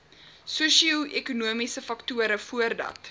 sosioekonomiese faktore voordat